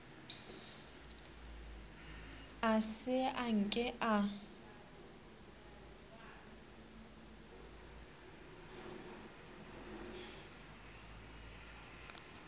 a se a nke a